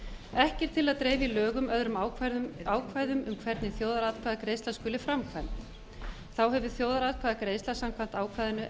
ekki er til að dreifa í lögum öðrum ákvæðum hvernig þjóðaratkvæðaratkvæðagreiðsla skuli framkvæmd þá hefur þjóðaratkvæðagreiðsla samkvæmt ákvæðinu